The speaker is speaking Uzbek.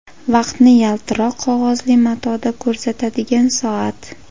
Vaqtni yaltiroq qog‘ozli matoda ko‘rsatadigan soat.